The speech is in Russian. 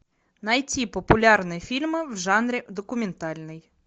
найти популярные фильмы в жанре документальный